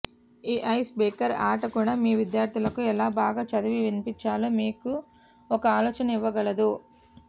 ఈ ice breaker ఆట కూడా మీ విద్యార్థులకు ఎలా బాగా చదివి వినిపించాలో మీకు ఒక ఆలోచన ఇవ్వగలదు